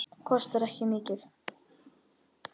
Kostar ekki mikið.